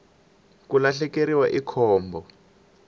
ku lahlekeriwa i khombo